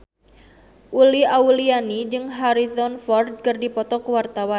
Uli Auliani jeung Harrison Ford keur dipoto ku wartawan